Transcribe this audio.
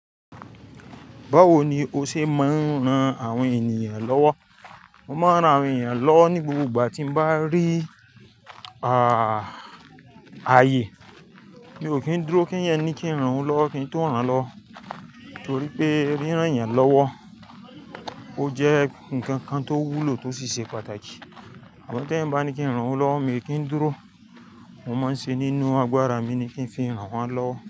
Báwo ni o ṣe máa ń ran àwọn ènìyàn lọ́wọ́? Mo máa ń ran àwọn ènìyàn lọ́wọ́ ní gbogbo ìgbà tí mo bá rí, à, ayè. Mi ò kí ń dúró, kí ń yẹní kí ń ran ú lọ́wọ́, kí ń tó ran lọ́wọ́. Torí pé rínràn ènìyàn lọ́wọ́, ó jẹ́ nǹkan kan tó wúlò tó sì ṣe pàtàkì. Àmọ t'èèyàn bá ní kí ń ran òun lọ́wọ́, mi kì í dúró, mo máa ń ṣe nínú agbára mi ní kí ń fi ran wọ́n lọ́wọ́.